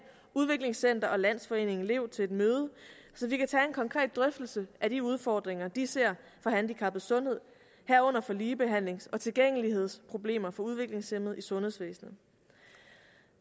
udviklingscenter og landsforeningen lev til et møde så vi kan tage en konkret drøftelse af de udfordringer de ser for handicappedes sundhed herunder for ligebehandlings og tilgængelighedsproblemer for udviklingshæmmede i sundhedsvæsenet